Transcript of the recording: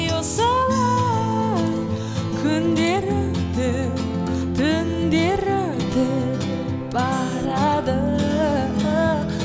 осылай күндер өтіп түндер өтіп барады